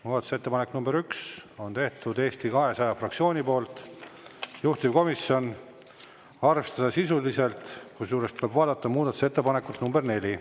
Muudatusettepaneku nr 1 on teinud Eesti 200 fraktsioon, juhtivkomisjon: arvestada sisuliselt, kusjuures tuleb vaadata muudatusettepanekut nr 4.